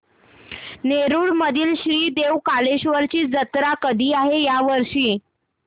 नेरुर मधील श्री देव कलेश्वर ची जत्रा कधी आहे या वर्षी